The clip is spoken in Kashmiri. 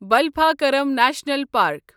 Balphakram National park